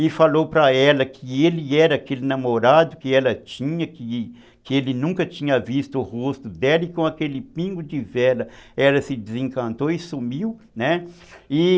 E falou para ela que ele era aquele namorado que ela tinha, que que ele nunca tinha visto o rosto dela, e com aquele pingo de vela ela se desencantou e sumiu, né? e